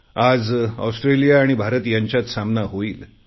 आज ऑस्ट्रेलिया आणि भारत यांच्यात सामना होईल